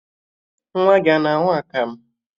Nwa gị a ga-aṅụ akamụ?